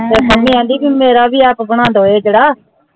ਤੇ ਪਾਮੀ ਕਹਿੰਦੀ ਮੇਰਾ ਭੀ ਆਪ ਬਨਾਦੋ ਇਹ ਜੇੜਾ